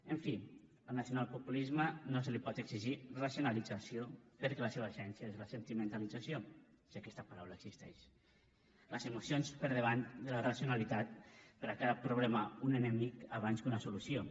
en fi al nacionalpopulisme no se li pot exigir racionalització perquè la seva essència és la sentimentalització si aquesta paraula existeix les emocions per davant de la racionalitat però a cada problema un enemic abans que una solució